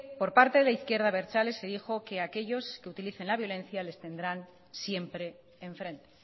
por parte de la izquierda abertzale se dijo que aquellos que utilicen la violencia les tendrán siempre en frente